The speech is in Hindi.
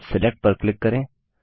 अब सिलेक्ट पर क्लिक करें